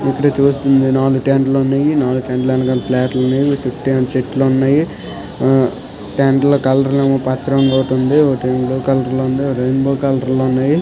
ఇక్కడ చూస్తుంటే నాలుగు టెంట్ లు ఉన్నాయి. నాలుగు టెంట్ ల వెనకాల ఫ్లాట్ లు ఉన్నాయి. చుట్టేమో చెట్లు ఉన్నాయి. ఆ టెంట్ ల కలర్ లేమో పచ్చ రంగు ఒకటి ఉంది ఒకటి బ్లూ కలర్ లో ఉంది రెయిన్బో కలర్ లో ఉన్నాయి.